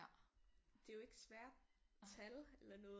Det er jo ikke svære tal eller noget